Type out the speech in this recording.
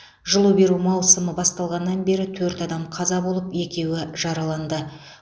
жылу беру маусымы басталғаннан бері төрт адам қаза болып екеуі жараланды